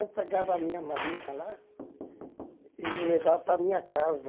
Eu pegava a minha marmita lá e levava para a minha casa.